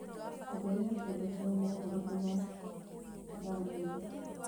ongerera cĩongo cĩa mohoro ndagũthaitha